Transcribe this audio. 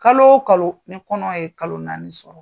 Kalo o kalo ni kɔnɔ ye kalo naani sɔrɔ,